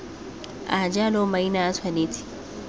a jalo maina a tshwanetse